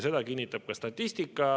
Seda kinnitab ka statistika.